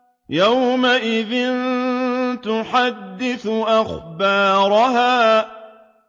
يَوْمَئِذٍ تُحَدِّثُ أَخْبَارَهَا